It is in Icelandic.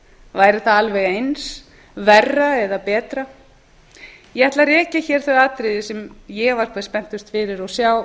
væri það alveg eins verra eða betra ég ætla að rekja hér þau atriði sem ég var hvað spenntust fyrir